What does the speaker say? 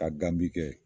Ka gan min kɛ